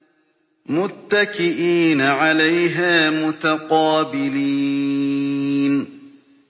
مُّتَّكِئِينَ عَلَيْهَا مُتَقَابِلِينَ